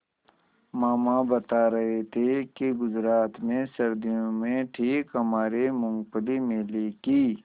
मामा बता रहे थे कि गुजरात में सर्दियों में ठीक हमारे मूँगफली मेले की